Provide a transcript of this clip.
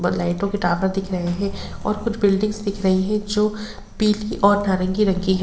व लाइटों के टॉवर दिख रहे है और कुछ बिल्डिंग्स दिख रही है जो पीली और नारंगी रंग की है।